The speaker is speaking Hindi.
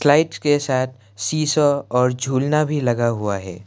के साथ शीशा और झुलना भी लगा हुआ है।